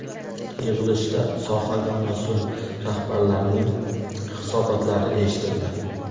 Yig‘ilishda sohaga mas’ul rahbarlarning hisobotlari eshitildi.